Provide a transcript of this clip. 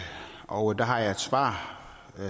og der har jeg et svar